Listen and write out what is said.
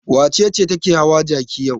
Wace ce take hawa jaki yau?